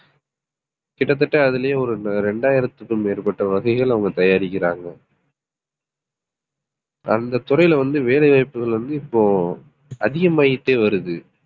கிட்டத்தட்ட அதிலேயே ஒரு இரண்டாயிரத்துக்கும் மேற்பட்ட வகைகள் அவங்க தயாரிக்கிறாங்க. அந்தத் துறையில வந்து வேலை வாய்ப்புகள் வந்து இப்போ அதிகமாயிட்டே வருது